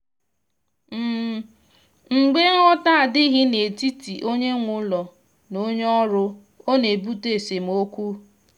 mgbe nghọta adịghị n’etiti onye nwe ụlọ na onye ọrụ ọ na-ebute esemokwu.